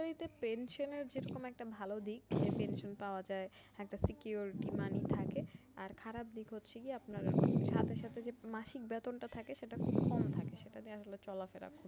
সরকারিতে pension যেমন একটা খুব ভালো দিক যে pension পাওয়া যায় একটা secured বেতনিই থাকে আর খারাপ দিক হচ্ছে যে আপনার সাথে সাথে যে মাসিক বেতনটা থাকে সেইটা খুব কম থাকে সেটা দিয়ে আসলে চলাফেরা